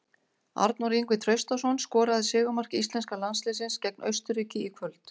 Arnór Ingvi Traustason skoraði sigurmark íslenska landsliðsins gegn Austurríki í kvöld.